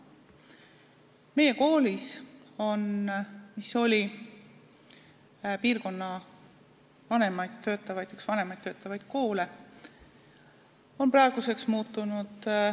Meie kool, mis oli piirkonna üks vanemaid töötavaid koole, on praeguseks muutunud.